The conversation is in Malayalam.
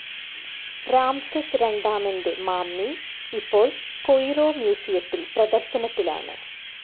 രാംസെസ് രണ്ടാമൻ്റെ മമ്മി ഇപ്പോൾ കൊയ്‌റോ മ്യൂസിയത്തിൽ പ്രദർശനത്തിലാണ്.